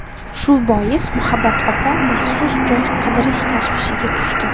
Shu bois, Muhabbat opa maxsus joy qidirish tashvishiga tushdi.